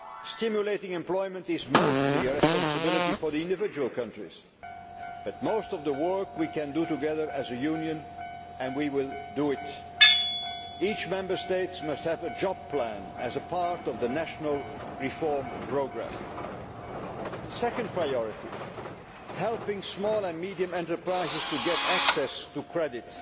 Stimulating employment is mostly a responsibility for the individual countries, but most of the work we can do together, as a Union, and we will do it. Each Member State must have a Job Plan' as a part of its national reform programme. Second priority helping small and medium enterprises to get access to credit,